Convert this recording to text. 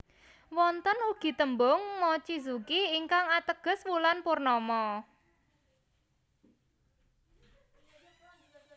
Wonten ugi tembung mochizuki ingkang ateges wulan purnama